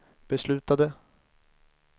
beslutade